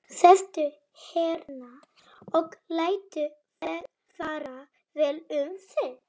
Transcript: Sestu hérna og láttu fara vel um þig!